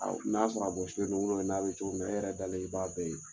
n'a sɔrɔ a bɔsilen do n'a bɛ cogo min na e yɛrɛ dalen i b'a bɛɛ ye.